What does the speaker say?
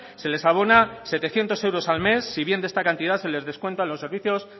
se les abona setecientos euros al mes si bien de esta cantidad se les descuentan los servicios